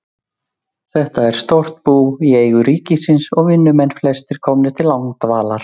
Þetta er stórt bú í eigu ríkisins og vinnumenn flestir komnir til langdvalar.